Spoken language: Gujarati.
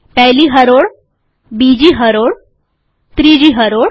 પહેલી હરોળ બીજી હરોળ ત્રીજી હરોળ